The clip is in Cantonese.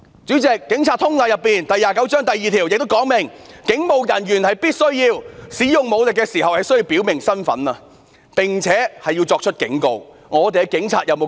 主席，《警察通例》第29章第2條亦訂明，"警務人員使用武力時必須表明身份，並且要作出警告"。